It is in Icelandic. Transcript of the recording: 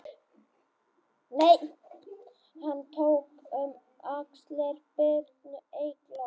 Hann tók um axlir Birnu Eyglóar